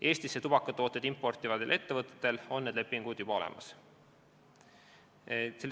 Eestisse tubakatooteid importivatel ettevõtetel on need lepingud juba olemas.